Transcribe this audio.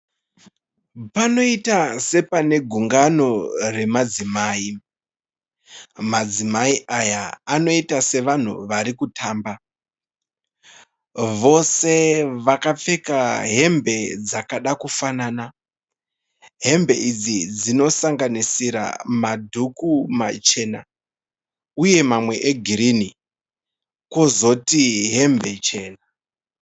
Panoita sepanegungano remadzimai. Madzimai aya anoita sevanhu arikutamba. Vose vakapfeka hembe dzakada kufanana. Hembe idzi dzinosakanisira madhuku machena, uye mamwe egirinhi. Kozoti hembe chena.